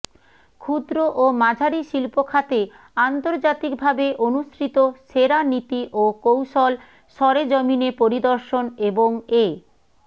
ক্ষুদ্র ও মাঝারি শিল্পখাতে আন্তর্জাতিকভাবে অনুসৃত সেরা নীতি ও কৌশল সরেজমিনে পরিদর্শন এবং এ